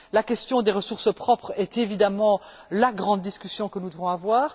La question des ressources propres est évidemment la grande discussion que nous devons avoir.